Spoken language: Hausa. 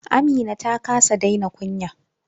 Amina ta kasa daina kunya.